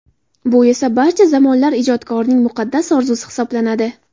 Bu esa, barcha zamonlar ijodkorining muqaddas orzusi hisoblanadi.